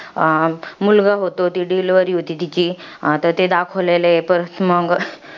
मुलगा होतो. ती delivery होते तिची. आता ते दाखवलेलं आहे. परत मंग,